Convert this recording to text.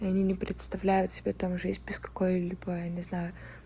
они не представляют себе там жизнь без какой-либо я не знаю